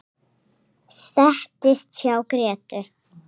Settist hjá Grétu.